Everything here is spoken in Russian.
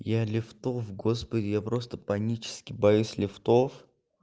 я лифтов господи я просто панически боюсь лифтов